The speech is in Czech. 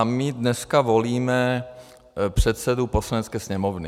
A my dnes volíme předsedu Poslanecké sněmovny.